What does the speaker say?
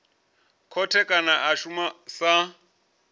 khothe kana a shuma sa